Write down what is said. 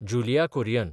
जुलिया कुरियन